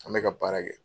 An bɛ ka baara kɛ